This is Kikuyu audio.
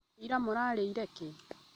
Ira mũrarĩire kĩ?